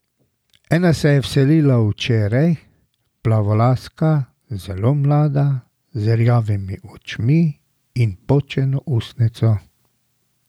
Ena se je vselila včeraj, plavolaska, zelo mlada, z rjavimi očmi in počeno ustnico.